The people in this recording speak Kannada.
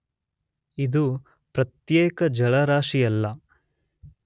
ಇದು ಪ್ರತ್ಯೇಕ ಜಲರಾಶಿಯಲ್ಲ.